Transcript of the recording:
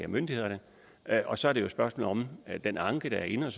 myndighederne og så er det jo et spørgsmål om den anke der er inde